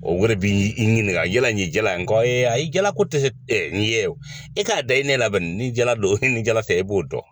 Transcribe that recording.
O wɛrɛ bi i ɲininka yala ni ye jala ye, n ko a ye jala ko tɛ, e k'a da i nɛ na bani ni jala don, ni jala tɛ i b'o dɔn.